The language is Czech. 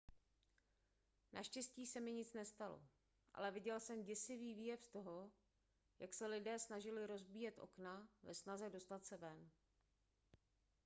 naštěstí se mi nic nestalo ale viděl jsem děsivý výjev toho jak se lidé snažili rozbíjet okna ve snaze dostat se ven